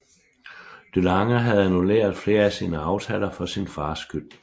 DeLange havde annulleret flere af sine aftaler for sin fars skyld